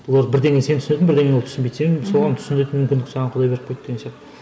олар бірдеңе сен түсінетін бірдеңе ол түсінбейді сен соған түсінетін мүмкіндік саған құдай беріп қойды деген сияқты